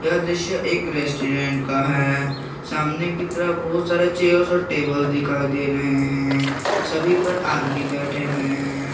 यह एक दृश्य रेस्टोरेंट का है सामने की तरफ बहुत सारे चेयर्स और टेबल दिखाई दे रहे हैं सभी पर आदमी बैठे हुए हैं।